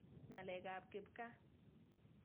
Ng'alek ap kipkaa.